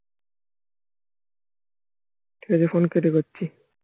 Telephone কেটে করছি